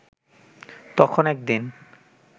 তখন একদিন